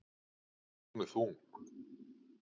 Hún er þung.